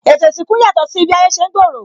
Ètò isinku ń yàtò si bi ayé ṣe ń gbooro